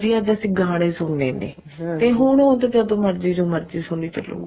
ਵੀ ਅੱਜ ਅਸੀਂ ਗਾਣੇ ਸੁਣਨੇ ਨੇ ਤੇ ਹੁਣ ਉਹ ਜਦੋਂ ਮਰਜ਼ੀ ਜੋ ਮਰਜ਼ੀ ਸੁਣੀ ਚਲੋ